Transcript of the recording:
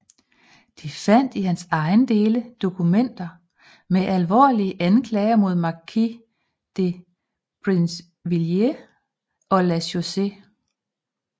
De fandt i hans ejendele dokumenter med alvorlige anklager mod markise de Brinvilliers og La Chaussee